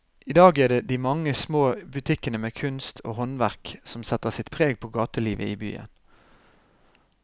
I dag er det de mange små butikkene med kunst og håndverk som setter sitt preg på gatelivet i byen.